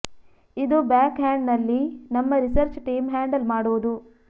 ಇದು back hand ನಲ್ಲಿ ನಮ್ಮ ರಿಸರ್ಚ್ ಟೀಮ್ ಹ್ಯಾಂಡಲ್ ಮಾಡುವುದು